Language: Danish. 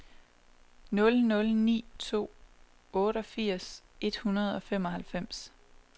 nul nul ni to otteogfirs et hundrede og femoghalvfems